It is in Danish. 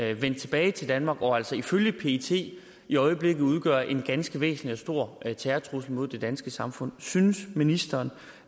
er vendt tilbage til danmark og altså ifølge pet i øjeblikket udgør en ganske væsentlig og stor terrortrussel mod det danske samfund synes ministeren